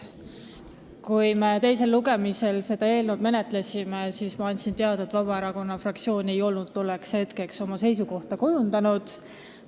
Kui me teisel lugemisel seda eelnõu menetlesime, siis ma andsin teada, et Vabaerakonna fraktsioon ei olnud tolleks hetkeks oma seisukohta kujundanud.